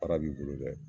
Para b'i bolo dɛ